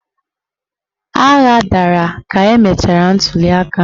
Agha dara ka emechara ntuliaka ahụ.